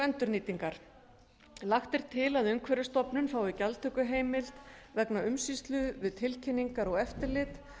endurnýtingar lagt er til að umhverfisstofnun fái gjaldtökuheimild vegna umsýslu við tilkynningar og eftirlit